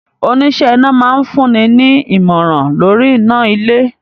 Oníṣẹ́ iná máa fún ni ní àmọ̀rà lóríi iná ilé.